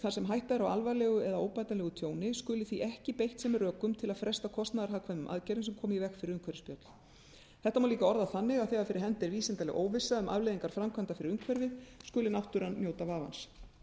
þar sem hætta er á alvarlegu eða óbætanlegu tjóni skuli því ekki beitt sem rökum til að fresta kostnaðarhagkvæmum aðgerðum sem koma í veg fyrir umhverfisspjöll þetta má líka orða þannig að þegar fyrir hendi er vísindaleg óvissa um afleiðingar framkvæmda fyrir umhverfið skuli náttúran njóta vafans